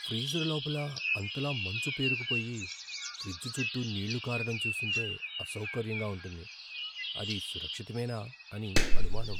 Freezer లోపల అంతలా మంచు పేరుకుపోయి, ఫ్రిజ్ చుట్టూ నీళ్ళు కారడం చూస్తుంటే అసౌకర్యంగా ఉంటుంది, అది సురక్షితమేనా అని అనుమానం.